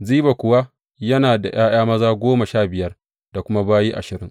Ziba kuwa yana da ’ya’ya maza goma sha biyar da kuma bayi ashirin.